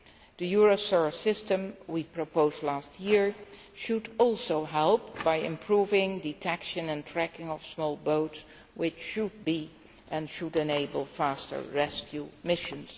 The Eurosur system we proposed last year should also help by improving detection and tracking of small boats, which should enable faster rescue missions.